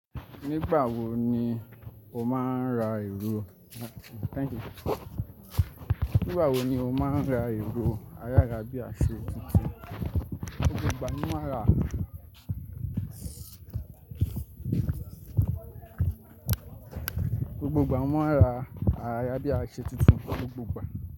Nígbà wo ni o máa ń ra èrò thanks you, Nígbà wo ni o máa ń ra èrò àyárabíaṣọ tuntun gbogbo ìgbà ni màá ra gbogbo ìgbà mo ma ra àyàrà bí i aṣọ titun gbogbo ìgbà.